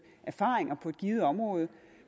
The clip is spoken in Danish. erfaringer på et givet område og